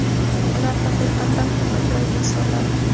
ular haqiqatan ham ajoyib insonlar.